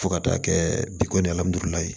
Fo ka taa kɛ bi ko